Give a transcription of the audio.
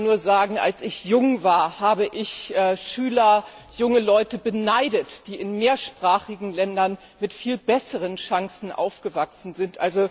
Ich kann als Deutsche nur sagen, als ich jung war, habe ich Schüler, junge Leute beneidet, die in mehrsprachigen Ländern mit viel besseren Chancen aufgewachsen sind.